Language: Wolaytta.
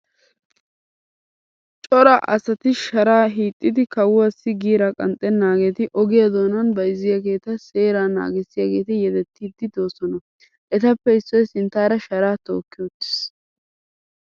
Cora asati sharaa hiixxidi kawuwaassi giiraa qanxxennaageeti ogiya doonan bayizziyageeta seeraa naagissiyaageeti yedettiiddi doosona. Etappe issoy sinttaara sharaa tookki uttis.